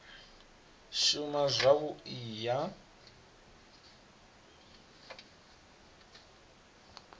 shuma zwavhui u ya nga